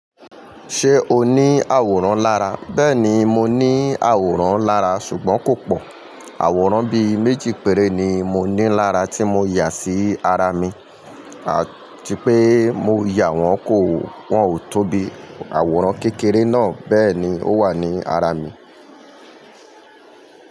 Ṣé o ní àwòrán lára? Bẹ́ẹ̀ni, mo ní àwòrán lára ṣùgbọ́n kò pọ̀. Àwòrán bí méjì péré ni mo ní lára tí mo yà sí ara mi. Àti pé mo yà wọ́n kò, wọ́n ò tó bi àwòrán kékeré náà. Bẹ́ẹ̀ ni, ó wà ní ara mi.